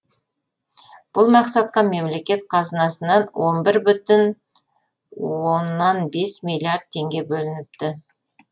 бұл мақсатқа мемлекет қазынасынан он бір бүтін оннан бес миллиард теңге бөлініпті